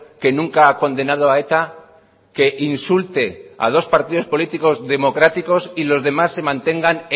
que nunca ha condenado a eta que insulte a dos partidos políticos democráticos y los demás se mantengan